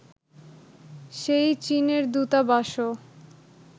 সেই চীনের দূতাবাসও